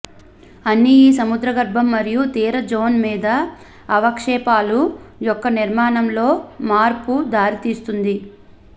అన్ని ఈ సముద్రగర్భం మరియు తీర జోన్ మీద అవక్షేపాలు యొక్క నిర్మాణం లో మార్పు దారి తీస్తుంది